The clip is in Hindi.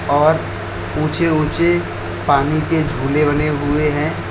और ऊंचे ऊंचे पानी के झूले बने हुए हैं।